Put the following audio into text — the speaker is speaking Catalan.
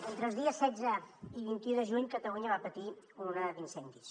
entre els dies setze i vint un de juny catalunya va patir una onada d’incendis